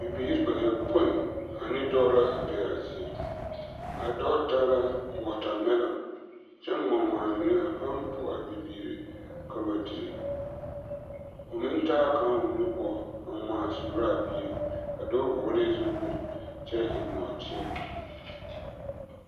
Bibiiri bayɔpoi ane dɔɔ la a be a zie, a dɔɔ taa la wɔɔtamɛloŋ kyɛ ŋma ŋma a mine a pãã po a bibiiri ka ba dire, o meŋ taa kaŋa o nu poɔ a ŋmaa suuraa bie, a dɔɔ vɔgelɛɛ zupili kyɛ eŋ nɔɔteɛ.